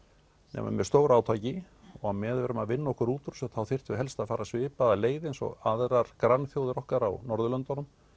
nema með stóru átaki og á meðan við erum að vinna okkur út úr þessu þá þyrftum við helst að fara svipaða leið eins og aðrar grannþjóðir okkar á Norðurlöndunum